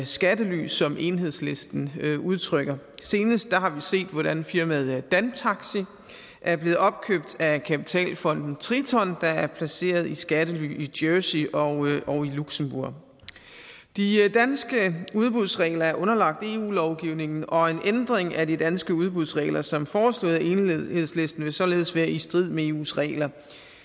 skattely som enhedslisten udtrykker senest har vi set hvordan firmaet dantaxi er blevet opkøbt af kapitalfonden triton der er placeret i skattely i jersey og luxembourg de danske udbudsregler er underlagt eu lovgivningen og en ændring af de danske udbudsregler som foreslået af enhedslisten vil således være i strid med eus regler